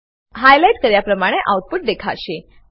highlight કર્યા પ્રમાણે output દેખાશે